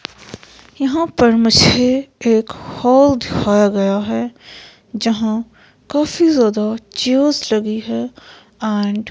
यहाँ पर मुझे एक हॉल दिखाया गया है जहाँ काफी ज्यादा चेयर्स लगी है एंड --